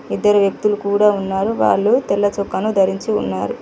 ఇద్దరు వ్యక్తులు కూడా ఉన్నారు వాళ్ళు తెల్ల చొక్కను ధరించి ఉన్నారు.